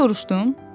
Niyə soruşdun?